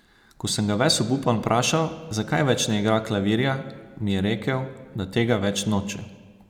Ko sem ga ves obupan vprašal, zakaj več ne igra klavirja, mi je rekel, da tega več noče!